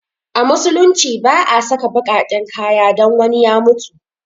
A musulunci ba a saka baƙaƙen kaya don wani ya mutu